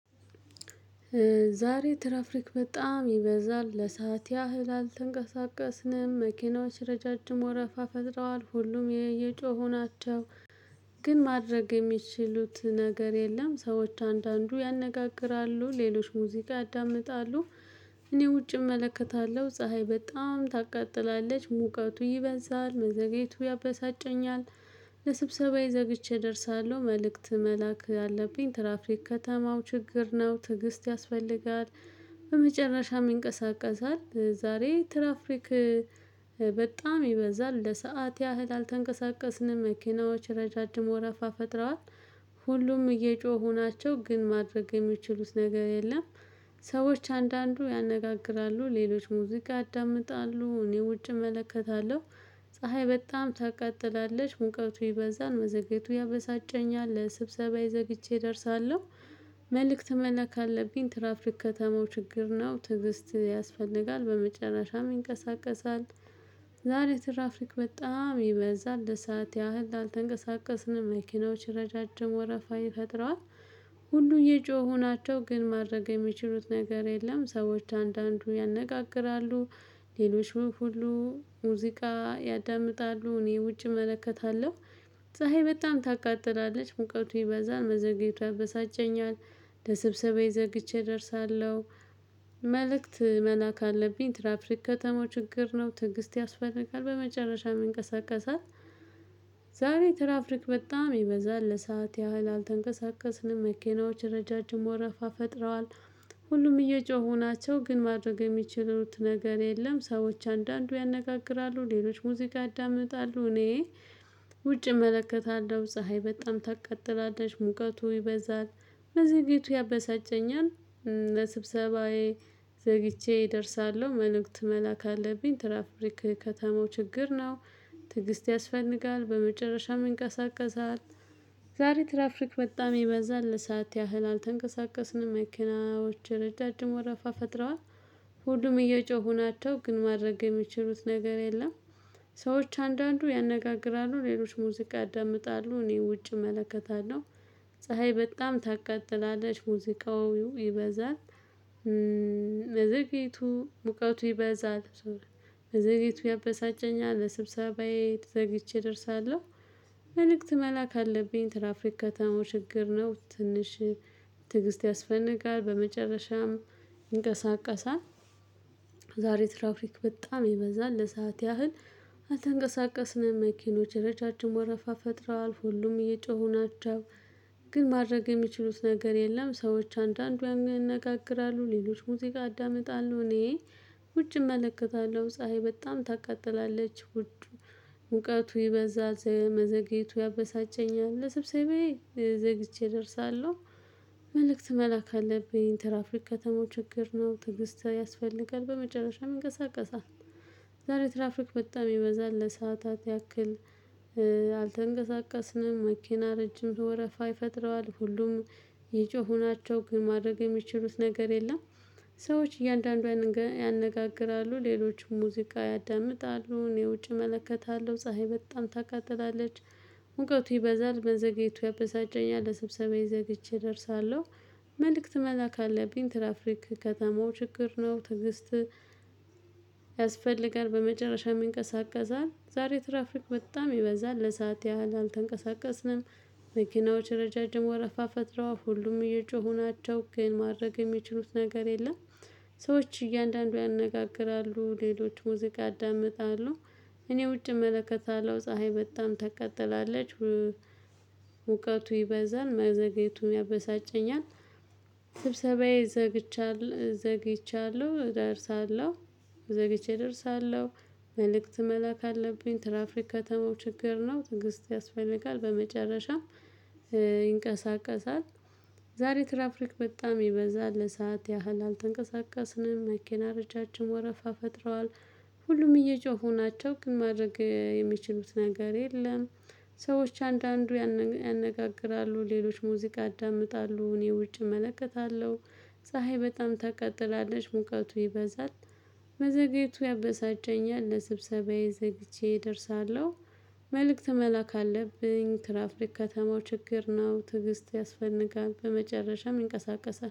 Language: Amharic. ዛሬ ትራፊክ በጣም ይበዛል ለሰአት ያህል አልተንቀሳቀስንም መኪናዎች ረጃጅም ወረፋ ፈጥረዋል ሁሉም የየጮሁ ናቸው። ግን ማድረግ የሚችሉት ነገር የለም ሰዎች አንዳንዱ ያነጋግራሉ ሌሎች ሙዚቃ ያዳምጣሉ። እኔ ውጪ እመለከታለሁ ፀሀይ በጣም ታቃጥላለች ሙቀቱ ይበዛል መዘግየቱ ያበሳጨኛል። ለስብሰባዬ ዘግቼ እደርሳለሁ መልእክት መላክ አለብኝ። ትራፍሪክ ከተማው ችግር ነው ትዕግስት ያስፈልጋል። በመጨረሻም ይንቀሳቀሳል ዛሬ ትራፍሪክ። በጣም ይበዛል ለሰአት ያህል አልተንቀሳቀስንም መኪናዎች ረጃጅም ወረፋ ፈጥረዋል። ሁሉም እየጮሁ ናቸው ግን ማድረግ የሚችሉት ነገር የለም። ሰዎች አንዳንዱ ያነጋግራሉ ሌሎች ሙዚቃ ያዳምጣሉ እኔ ውጭ እመለከታለሁ። ፀሀይ በጣም ታቀጥላለች ሙቀቱ ይበዛን መዘግየቱ ያበሳጨኛል ለስብሰባ ዘግይቼ እደርሳለሁ። መልእክት መለክ አለብኝ ትራፍሪክ ከተማው ችግር ነው ትዕግስት ያስፈልጋል በመጨረሻም ይንቀሳቀሳል። ዛሬ ትራፍሪክ በጣም ይበዛል ለሰአት ያህል አልተንቀሳቀስንም መኪናዎች ረጃጅም ወረፋ ይፈጥረዋል። ሁሉ እየጮሁ ናቸው ግን ማድረግ የሚችሉት ነገር የለም። ሰዎች አንዳንዱ ያነጋግራሉ ሌሎች ሁሉ ሙዚቃ ያዳምጣሉ እኔ ውጪ እመለከታለሁ። ፀሀይ በጣም ታቃጥላለች ሙቀቱ ይበዛል መዘግየቱ ያበሳጨኛል ለስብሰባ ዘግይቼ እደርሳለሁ። መልእክት መላክ አለብኝ ትራፍሪክ ከተማው ችግር ነው። ትንግስት ያስፈልጋል በመጨረሻም ይንቀሳቀሳል። ዛሬ ትራፍሪክ በጣም ይበዛል ለሰአት ያህል አልተንቀሳቀስንም መኪናዎች ረጃጅም ወረፋ ፈጥረዋል። ሁሉም እየጮሁ ናቸው ግን ማድረግ የሚችሉት ነገር የለም። ሰዎች አንዳንዱ ያነጋግራሉ ሌሎች ሙዚቃ ያዳምጣሉ እኔ ውጪ እመለከታለሁ። ፀሀይ በጣም ታቀጥላለሽ ሙቀቱ ይበዛል መዘግየቱ ያበሳጨኛል። ስብሰባዬ ዘግቼ እደርሳለሁ መልእክት መላክ አለብኝ ትራፍሪክ ከተማው ችግር ነው። ትዕግስት ያስፈልጋል በመጨረሻም ይንቀሳቀሳል። ዛሬ ትራፍሪክ በጣም ይበዛል ለሰአት ያህል አልተንቀሳቀስንም መኪናዎች ረጃጅም ወረፋ ፈጥረዋል። ሁሉም እየጮሁ ናቸው ግን ማድረግ የሚችሉት ነገር የለም። ሰዎች አንዳንዱ ያነጋግራሉ ሌሎች ሙዚቃ ያዳምጣሉ እኔ ውጭ እመለከታለሁ። ፀሀይ በጣም ታቀጥላለች ሙዚቃው ይበዛል። መዘግየቱ ሙቀቱ ይበዛል መዘግየቱ ያበሳጨኛል። ለስብሰባዬ ዘግይቼ እደርሳለሁ መልእክት መላክ አለብኝ ትራፍሪክ ከተማው ችግር ነው። ትንሽ ትዕግስት ያስፈነጋል በመጨረሻም ይንቀሳቀሳለን። ትራፍሪክ በጣም ይበዛል ለሰአት ያህል አልተንቀሳቀስንም መኪኖች ረጃጅም ወረፋ ፈጥረዋል ሁሉም እየጮሁ ናቸው። ግን ማድረግ የሚችሉት ነገር የለም። ሰዎች አንዳንዱ ያነጋግራሉ ሌሎች ሙዚቃ ያዳምጣሉ እኔ ውጭ እመለከታለሁ። ፀሀይ በጣም ታቃጥላለች ውዱ ሙቀቱ ይበዛት መዘግየቱ ያበሳጨኛል። ለሰብሰባዬ ዘግይቼ እደርሳለሁ መልእክት መላክ አለብኝ ትራፍሪክ ከተማው ችግር ነው። ትዕግስት ያስፈልጋል በመጨረሻም ይንቀሳቀሳል። ዛሬ ትራፍሪክ በጣም ይበዛል ለሰአታት ያክል። አልተንቀሳቀስንም መኪና ረጅም ወረፋ ይፈጥረዋል ሁሉም እየጮሁ ናቸው ግን ማድረግ የሚችሉት ነገር የለም። ሰዎች እያንዳንዱ ያነጋግራሉ ሌሎችም ሙዚቃ ያዳምጣሉ እኔ ውጭ እመለከታለሁ ፀሀይ በጣም ታቃጥላለች። ሙቀቱ ይበዛል መዘግየቱ ያበሳጨኛል ለስብሰባዬ ዘግይቼ እደርሳለሁ። መልእክት መላክ አለብኝ ትራፍሪክ ከተማው ችግር ነው። ትዕግስት ያስፈልጋል በመጨረሻም ይንቀሳቀሳል። ዛሬ ትራፍሪክ በጣም ይበዛል ለሰአት ያህል አልተንቀሳቀስንም። መኪናዎች ረጃጅም ወረፋ ፈጥረዋል ሁሉም እየጮሁ ናቸው ግን ማድረግ የሚችሉት ነገር የለም። ሰዎች እያንዳንዱ ያነጋግራሉ ሌሎች ሙዚቃ ያዳምጣሉ። እኔ ውጪ እመለከታለሁ ፀሀይ በጣም ታቃጥላለች። ሙቀቱ ይበዛል መዘግየቱ ያበሳጨኛል። ስብሰባዬ ዘግቻለሁ ዘግይቻለሁ ደርሳለሁ ዘግይቼ እደርሳለሁ። መልእክት መላክ አለብኝ ትራፍሪክ ከተማው ችግር ነው። ትንግስት ያስፈልጋል በመጨረሻም ይንቀሳቀሳል። ዛሬ ትራፍሪክ በጣም ይበዛል ለሰአት ያህል አልተንቀሳቀስንም መኪና ረጃጅም ወረፋ ፈጥረዋል። ሁሉም እየጮሁ ናቸው ግን ማድረግ የሚችሉት ነገር የለም። ሰዎች አንዳንዱ ያነጋግራሉ ሌሎች ሙዚቃ ያዳምጣሉ እኔ ውጭ እመለከታለሁ። ፀሀይ በጣም ታቃጥላለች ሙቀቱ ይበዛል። መዘግየቱ ያበሳጨኛል ለስብሰባዬ ዘግይቼ እደርሳለሁ። መልእክት መላክ አለብኝ ትራፍሪክ ከተማው ችግር ነው። ትዕግስት ያስፈልጋል በመጨረሻም እንቀሳቀሳለን